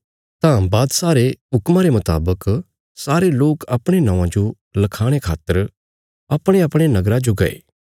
तां बादशाह रे हुक्मा रे मुतावक सारे लोक अपणे नौआं जो लखाणे खातर अपणेअपणे पूर्वजां रे नगरा जो गये